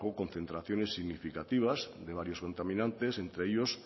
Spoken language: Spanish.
concentraciones significativas de varios contaminantes entre ellos